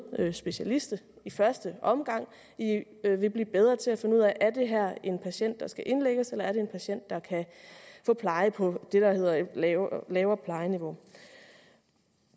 specialister i første omgang vil de blive bedre til at finde ud af om det her er en patient der skal indlægges eller er en patient der kan få pleje på det der hedder et lavere lavere plejeniveau